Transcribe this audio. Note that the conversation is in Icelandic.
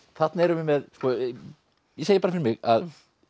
þarna erum við með ég segi bara fyrir mig að